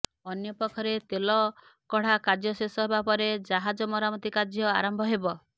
ଅନ୍ୟପକ୍ଷରେ ତେଲ କଢ଼ା କାର୍ଯ୍ୟ ଶେଷ ହେବା ପରେ ଜାହାଜ ମରାମତି କାର୍ଯ୍ୟ ଆରମ୍ଭ ହେବ